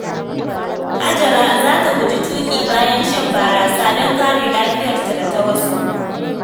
Hajara za ta guji tuƙi bayan shan barasa don kare lafiyarta da ta wasu.